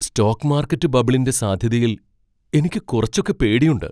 Stock market ബബിളിന്റെ സാധ്യതയിൽ എനിക്ക് കുറച്ചൊക്കെ പേടിയുണ്ട്.